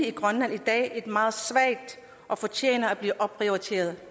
i grønland i dag er nemlig meget svag og fortjener at blive opprioriteret